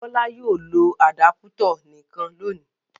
Bọ́lá yóò lo àdápútọ̀ nìkan lónìí.